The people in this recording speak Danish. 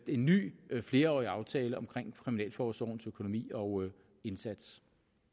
en ny flerårig aftale om kriminalforsorgens økonomi og indsats